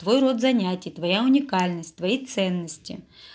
т вой род занятий твоя уникальность твои ценности